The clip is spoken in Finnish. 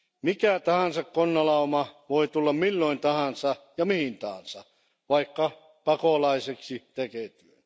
Mikä tahansa konnalauma voi tulla milloin tahansa ja mihin tahansa, vaikka pakolaiseksi tekeytyen.